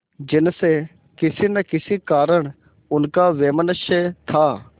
जिनसे किसी न किसी कारण उनका वैमनस्य था